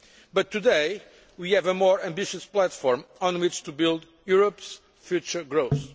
But today we have a more ambitious platform on which to build Europe's future growth.